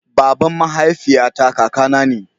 baban mahaifiya ta kaka na ne